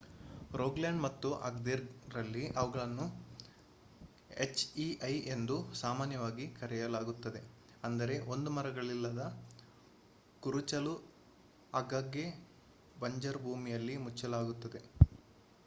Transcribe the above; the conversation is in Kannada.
ರೋಗಾಲ್ಯಾಂಡ್ ಮತ್ತು ಅಗ್ದೇರ್ ರಲ್ಲಿ ಅವುಗಳಿಗೆ ಹೆಚ್ಇಐ"ಎಂದು ಸಾಮಾನ್ಯವಾಗಿ ಕರೆಯಲಾಗುತ್ತದೆ ಅಂದರೆ ಒಂದು ಮರಗಳಿಲ್ಲದ ಕುರುಚಲು ಆಗಾಗ್ಗೆ ಬಂಜರು ಭೂಮಿಯಲ್ಲಿ ಮುಚ್ಚಲಾಗುತ್ತದೆ